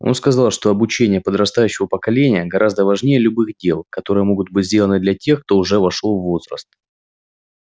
он сказал что обучение подрастающего поколения гораздо важнее любых дел которые могут быть сделаны для тех кто уже вошёл в возраст